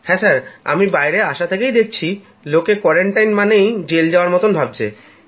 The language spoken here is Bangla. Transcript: হ্যাঁ আমি বাইরে আসা ইস্তক দেখছি লোকে কোয়ারান্টাইন মানে জেল যাওয়ার মত ভাবছে